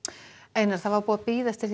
einar það var búið að bíða eftir